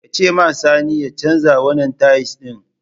Ka ce ma sani ya canza wanan tais ɗin!